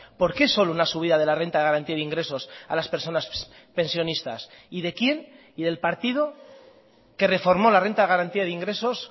por qué solo una subida de la renta de garantía de ingresos a las personas pensionistas y de quién y del partido que reformó la renta de garantía de ingresos